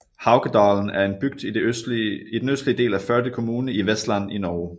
Haukedalen er en bygd i den østlige del af Førde kommune i Vestland i Norge